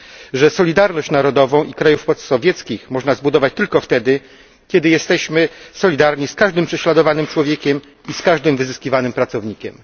że solidarność narodową krajów postsowieckich można zbudować tylko wtedy, kiedy jesteśmy solidarni z każdym prześladowanym człowiekiem i z każdym wyzyskiwanym pracownikiem.